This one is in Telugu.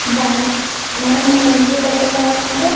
బ్యాంక్ . మనం మన ఇంట్లో డబ్బులు దాచుకుంటే --